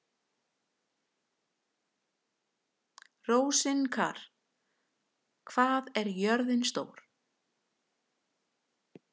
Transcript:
Rósinkar, hvað er jörðin stór?